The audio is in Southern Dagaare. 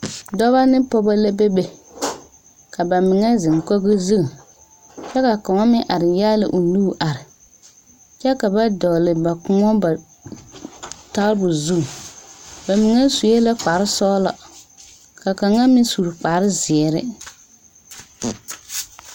Dɔba ne pɔgeba la bebe ka ba mine zeŋ kogi zu kyɛ ka kaŋ meŋ are nyaali o nu are kyɛ ka ba dɔgle ba koɔ tabol zu ba mine sue la kparesɔglɔ ka kaŋa meŋ su kparezeere.